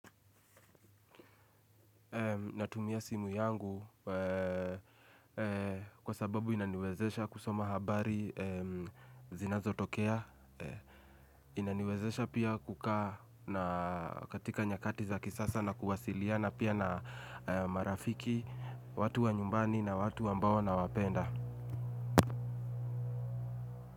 Natumia simu yangu kwa sababu inaniwezesha kusoma habari zinazo tokea, inaniwezesha pia kukaa katika nyakati za kisasa na kuwasiliana pia na marafiki watu wa nyumbani na watu ambao nawapenda.